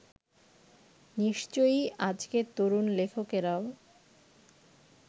নিশ্চয়ই আজকের তরুণ লেখকেরাও